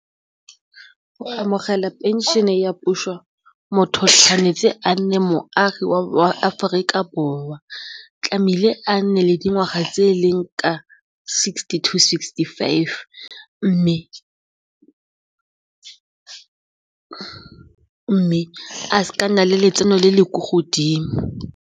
O amogela pension-e ya puso motho tshwanetse a nne moagi wa Aforika Borwa tlamehile a nne le dingwaga tse e leng ka sixty to sixty-five mme a seke a nna le letseno le le kwa godimo.